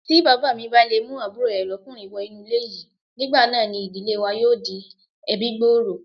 Tí Bàbámi bá le mú àbúrò rè lọ́'kùnrin wọ inú ilé yìí, nígbà náà ni ìdílé wa yóò di ẹbí-gbòòrò.